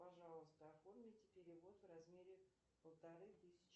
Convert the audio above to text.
пожалуйста оформите перевод в размере полторы тысячи